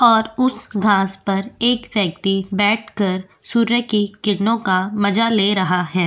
और उस घास पर एक व्यक्ति बैठकर सूर्य की किरणों का मजा ले रहा है।